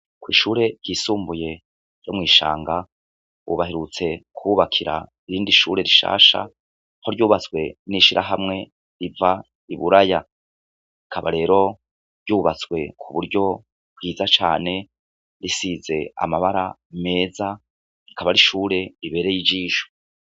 Kw'ishure ryisumbuye ryo mw'Ishanga, ubu baherutse kuhubakira irindi shure rishasha aho ryubatswe n'ishirahamwe riva i Buraya. Rikaba rero ryubatse ku buryo bwiza cane risize amabara meza, rikaba ari ishure ribereye ijisho.